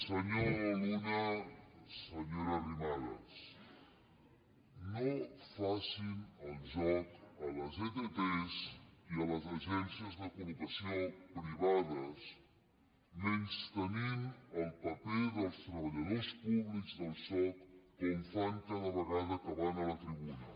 senyor luna senyora arrimadas no facin el joc a les ett i a les agències de collocació privades menystenint el paper dels treballadors públics del soc com fan cada vegada que van a la tribuna